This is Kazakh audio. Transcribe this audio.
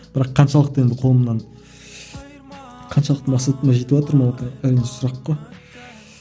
бірақ қаншалықты енді қолымнан қаншалықты мақсатыма жетіватырмын ол әрине сұрақ қой